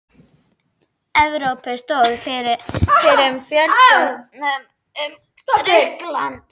Evrópu stóðu fyrir fjöldafundum um Grikkland.